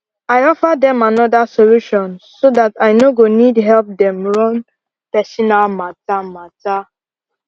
i offer dem another solution so dat i no go need help dem run personal matter matter